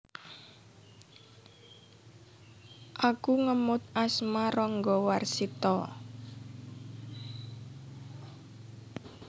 Iku ngemot asma Ranggawarsita